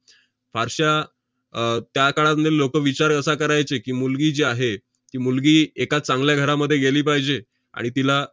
फारश्या अह त्या काळामध्ये लोकं विचार असा करायचे की, मुलगी जी आहे, ती मुलगी एका चांगल्या घरामध्ये गेली पाहिजे, आणि तिला